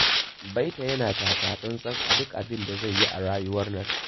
Baita yana takatsantsa a duk abin da zai yi a rayuwar nan.